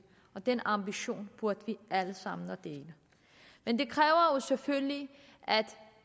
og den ambition burde vi alle sammen dele men det kræver jo selvfølgelig at